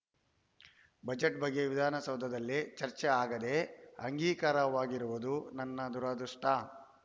budget ಬಗ್ಗೆ ವಿಧಾನಸೌಧದಲ್ಲಿ ಚರ್ಚೆ ಆಗದೆ ಅಂಗೀಕಾರವಾಗಿರುವುದು ನನ್ನ ದುರದೃಷ್ಟ